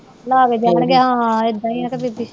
ਬੀਬੀ